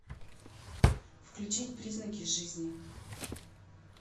включить признаки жизни